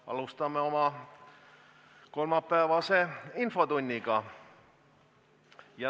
Alustame oma kolmapäevast infotundi.